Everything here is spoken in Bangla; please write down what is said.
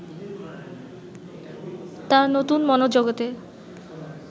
তাঁর নতুন মনোজগতে